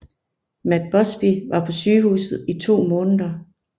Matt Busby var på sygehuset i to måneder